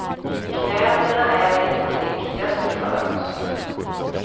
Kläderna är inte det viktigaste för oss.